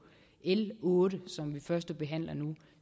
l otte som vi førstebehandler nu